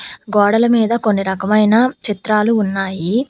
గోడల మీద కొన్ని రకమైన చిత్రాలు ఉన్నాయి.